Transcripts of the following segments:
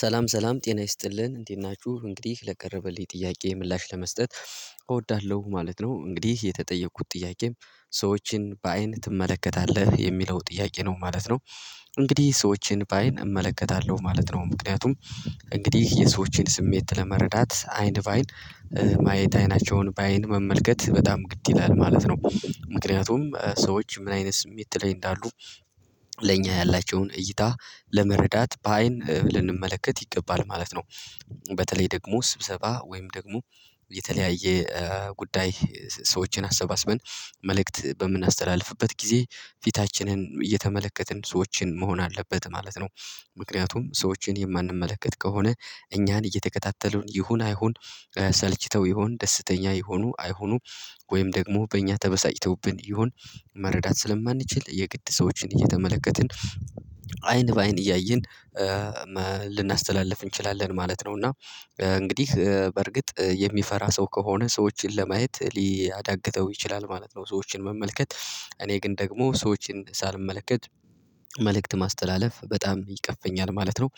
ሰላም ሰላም ጤና ይስጥልን እንዴት ናችሁ እንግዲህ ለቀረበልኝ ጥያቄ ምላሽ ለመስጠት እወዳለሁ ማለት ነው። እንግዲህ የተጠየቁት ጥያቄም ሰዎችን በአይን ትመለከታለህ የሚለው ጥያቄ ነው ማለት ነው? እንግዲህ ሰዎችን በአይን እመለከታለሁ ማለት ነው። ምክንያቱም እንግዲህ የሰዎችን ስሜት ለመረዳት አይን ባይን ማየት አይናቸውን በአይን መመልከት በጣም ግድ ይላል ማለት ነው። ምክንያቱም ሰዎች ምን አይነት ስሜት ላይ እንዳሉ ለእኛ ያላቸውን እይታ ለመረዳት በአይን ልንመለከት ይገባል ማለት ነው። በተለይ ደግሞ ስብሰባ ወይም ደግሞ የተለያየ ጉዳይ ሰዎችን አሰባስበን መልእክት በምናስተላልፍበት ጊዜ ፊታችንን እየተመለከትን ሰዎችን መሆን አለበት ማለት ነው። ምክንያቱም ሰዎችን የማንመለከት ከሆነ እኛን እየተከታተሉን ይሁን አይሁን ሰልችተው ይሁን ደስተኛ ይሁኑ አይሁኑ ወይም ደግሞ በእኛ ተበሳጭተውብን ይሆን መረዳት ስለማንችል የግድ ሰዎችን እየተመለከትን አይን በአይን እያየን ልናስተላልፍ እንችላለን ማለት ነው። እና እንግዲህ በርግጥ የሚፈራ ሰው ከሆነ ሰዎችን ለማየት ሊያዳግተው ይችላል ማለት ነው። ሰዎችን መመልከት እኔ ግን ደግሞ ሰዎችን ሳልመለከት መልእክት ማስተላለፍ በጣም ይቀፈኛል ማለት ነው።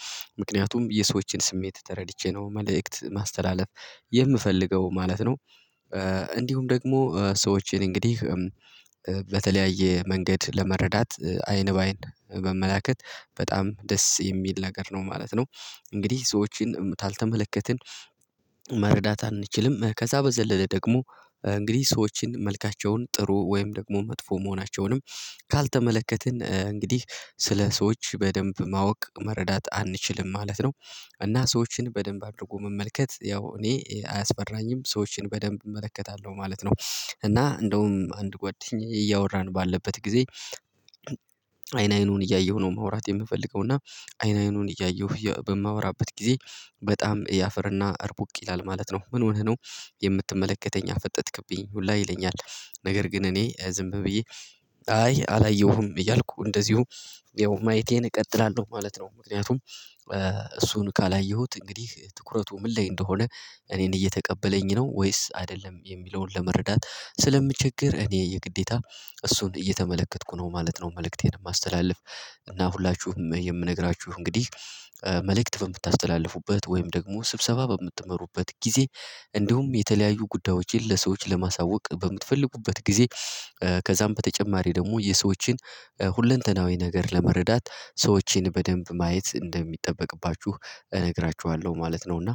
ምክንያቱም የሰዎችን ስሜት ተረድቼ ነው መልእክት ማስተላለፍ የምፈልገው ማለት ነው። እንዲሁም ደግሞ ሰዎችን እንግዲህ በተለያየ መንገድ ለመረዳት አይን በአይን መመላከት በጣም ደስ የሚል ነገር ነው ማለት ነው። እንግዲህ ሰዎችን ካልተመለከትን መረዳት አንችልም ከዛ በዘለለ ደግሞ እንግዲህ ሰዎችን መልካቸውን ጥሩ ወይም ደግሞ መጥፎ መሆናቸውንም ካልተመለከትን እንግዲህ ስለ ሰዎች በደንብ ማወቅ መረዳት አንችልም ማለት ነው። እና ሰዎችን በደንብ አድርጎ መመልከት ያው እኔ አያስፈራኝም ሰዎችን በደንብ እመለከታለሁ ማለት ነው። እና እንደውም አንድ ጎደኝ እያወራን ባለበት ጊዜ አይን አይኑን እያየሁ ነው የምወራት የምፈልገው እና አይን አይኑን እያየሁ በማወራበት ጊዜ በጣም ያፈርና አርቡቅ ይላል ማለት ነው ምን ሆነህ ነው? የምትመለከተኝ አፈጠጥክብኝ ሁላ ይለኛል። ነገር ግን እኔ ዝም ብዬ አይ አላየሁም እያልኩ እንደዚሁ ያው ማየቴን እቀጥላለሁ ማለት ነው። ምክንያቱም እሱን ካላየሁት እንግዲህ ትኩረቱ ምን ላይ እንደሆነ እኔን እየተቀበለኝ ነው ወይስ አይደለም የሚለውን ለመረዳት ስለምቸገር እኔ የግዴታ እሱን እየተመለከትኩ ነው ማለት ነው። መልእክቴን የማስተላልፍ እና ሁላችሁም የምነግራችሁ እንግዲህ መልእክት በምታስተላልፉበት ወይም ደግሞ ስብሰባ በምትመሩበት ጊዜ እንዲሁም የተለያዩ ጉዳዮችን ለሰዎች ለማሳወቅ በምትፈልጉበት ጊዜ ከዛም በተጨማሪ ደግሞ የሰዎችን ሁለንተናዊ ነገር ለመረዳት ሰዎችን በደንብ ማየት እንደሚጠበቅባችሁ እነግራችኋለሁ ማለት ነው። እና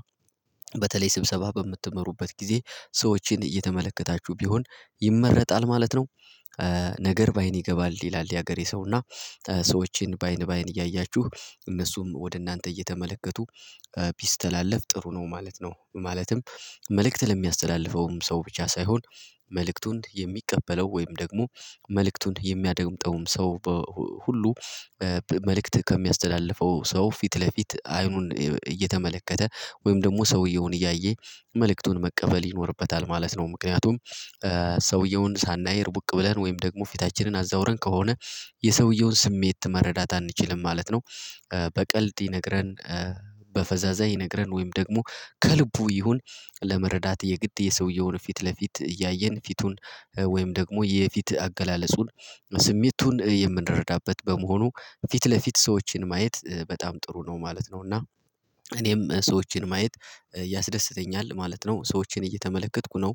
በተለይ ስብሰባ በምትመሩበት ጊዜ ሰዎችን እየተመለከታችሁ ቢሆን ይመረጣል ማለት ነው። በአይን ይገባል ይላል የሀገሬ ሰውና ሰዎችን በአይን በአይን እያያችሁ እነሱም ወደ እናንተ እየተመለከቱ ቢስተላለፍ ጥሩ ነው ማለት ነው። ማለትም መልእክት ለሚያስተላልፈውም ሰው ብቻ ሳይሆን መልእክቱን የሚቀበለው ወይም ደግሞ መልእክቱን የሚያደምጠውም ሰው ሁሉ መልእክት ከሚያስተላልፈው ሰው ፊት ለፊት አይኑን እየተመለከተ ወይም ደግሞ ሰውየውን እያየ መልእክቱን መቀበል ይኖርበታል ማለት ነው። ምክንያቱም ሰውየውን ሳናይ ርቡቅ ብለን ወይም ደግሞ ፊታችንን አዛውረን ከሆነ የሰውየውን ስሜት መረዳት አንችልም ማለት ነው። በቀልድ ይነግረን በፈዛዛ ይነግረን ወይም ደግሞ ከልቡ ይሁን ለመረዳት የግድ የሰውየውን ፊት ለፊት እያየን ፊቱን ወይም ደግሞ የፊት አገላለጹን ስሜቱን የምንረዳበት በመሆኑ ፊት ለፊት ሰዎችን ማየት በጣም ጥሩ ነው ማለት ነው። እና እኔም ሰዎችን ማየት ያስደስተኛል ማለት ነው። ሰዎችን እየተመለከትኩ ነው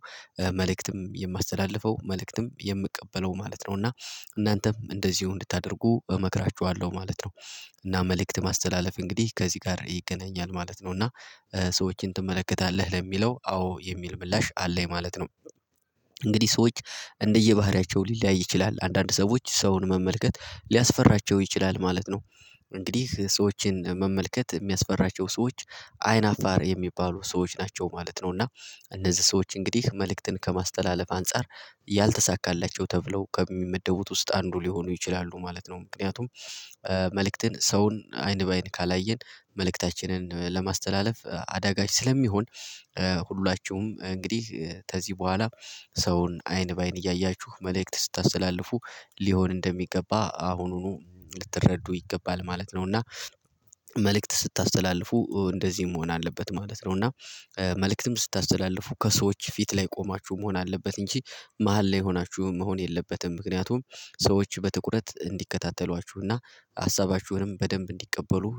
መልእክትም የማስተላልፈው መልእክትም የምቀበለው ማለት ነው። እና እናንተም እንደዚሁ እንድታደርጉ እመክራችኋለሁ ማለት ነው። እና መልእክት ማስተላለፍ እንግዲህ ከዚህ ጋር ይገናኛል ማለት ነው። እና ሰዎችን ትመለከታለህ ለሚለው አዎ የሚል ምላሽ አለኝ ማለት ነው። እንግዲህ ሰዎች እንደየባህሪያቸው ሊለያይ ይችላል አንዳንድ ሰዎች ሰውን መመልከት ሊያስፈራቸው ይችላል ማለት ነው። እንግዲህ ሰዎችን መመልከት የሚያስፈራቸው ሰዎች አይን አፋር የሚባሉ ሰዎች ናቸው ማለት ነው። እና እነዚህ ሰዎች እንግዲህ መልእክትን ከማስተላለፍ አንፃር ያልተሳካላቸው ተብለው ከሚመደቡት ውስጥ አንዱ ሊሆኑ ይችላሉ ማለት ነው። ምክንያቱም መልእክትን ሰውን አይን በአይን ካላየን መልእክታችንን ለማስተላለፍ አዳጋች ስለሚሆን ሁላችሁም እንግዲህ ከዚህ በኋላ ሰውን አይን በአይን እያያችሁ መልእክት ስታስተላልፉ ሊሆን እንደሚገባ አሁኑኑ ልትረዱ ይገባል ማለት ነው። እና መልእክት ስታስተላልፉ እንደዚህም መሆን አለበት ማለት ነው። እና መልእክትም ስታስተላልፉ ከሰዎች ፊት ላይ ቆማችሁ መሆን አለበት እንጂ መሃል ላይ ሆናችሁ መሆን የለበትም ምክንያቱም ሰዎች በትኩረት እንዲከታተሏችሁና ሀሳባችሁንም በደንብ እንዲቀበሉ